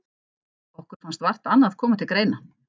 Okkur fannst vart annað koma til greina.